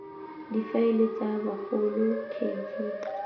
difaele tsa bagolo k g